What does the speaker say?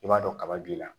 I b'a dɔn kaba b'i la